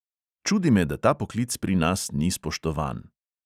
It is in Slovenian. Čudi me, da ta poklic pri nas ni spoštovan.